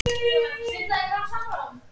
Þar á meðal eru